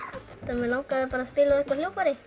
mig langaði að spila á eitthvert hljóðfæri